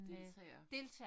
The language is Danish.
Deltager